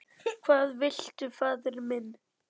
Hvað viltu faðir minn?